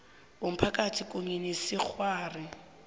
womphakathi kunye nesikghwari